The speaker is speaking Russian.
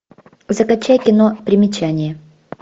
закачай кино примечание